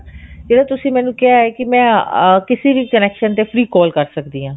ਜਿਹੜਾ ਤੁਸੀਂ ਮੈਨੂੰ ਕਿਹਾ ਹੈ ah ਕਿਸੀ ਵੀ connection ਤੇ free call ਕਰ ਸਕਦੀ ਹਾਂ